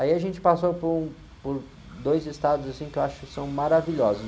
Aí a gente passou por um, por dois estados, assim, que eu acho que são maravilhosos.